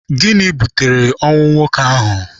Gịnị butere ọnwụ nwoke ahụ?